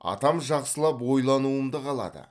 атам жақсылап ойлануымды қалады